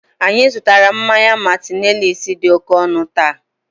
anyị zụtara mmanya "martineliss" dị oke ọnụ taa